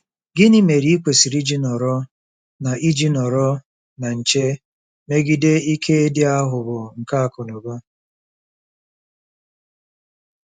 Gịnị mere i kwesịrị iji nọrọ na iji nọrọ na nche megide “ike dị aghụghọ nke akụnụba”?